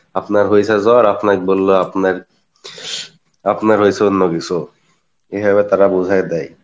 আপনার হয়েছে জ্বর আপনার বললো আপনার, আপনার হইসে অন্য কিসু, এভাবে তারা বোঝাই দেই